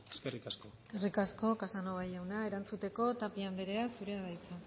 eskerrik asko eskerrik asko casanova jauna erantzuteko tapia andrea zurea da hitza